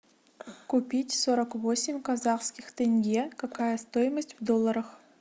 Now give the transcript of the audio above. купить сорок восемь казахских тенге какая стоимость в долларах